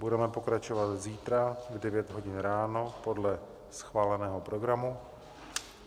Budeme pokračovat zítra v 9 hodin ráno podle schváleného programu.